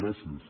gràcies